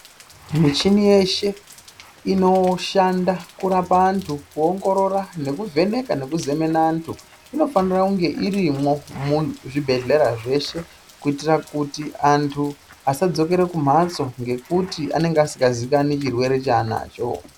Michini yeshe inoshanda kurapa antu ku ongorora neku vheneka neku zemene antu inofanira kunge irimwo mu zvibhedhlera zveshe kuitira kuti antu asa dzokere ku mhatso nekuti anenge asinga ziikanwi chirwere cha anacho.